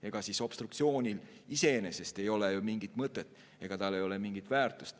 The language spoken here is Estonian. Ega obstruktsioonil iseenesest ei ole ju mingit mõtet ega mingit väärtust.